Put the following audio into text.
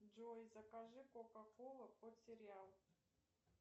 джой закажи кока кола под сериал